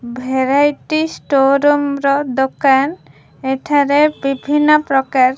variety store room ର ଦୋକାନ ଏଠରେ ବିଭିନ୍ନ ପ୍ରକାର --